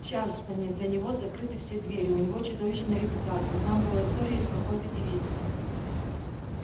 в чарльстоне для него закрыты все двери у него чудовищная репутация и там была история с какой-то девицей